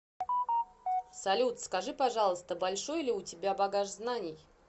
салют скажи пожалуйста большой ли у тебя багаж знаний